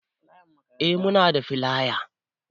Eh muna da filaya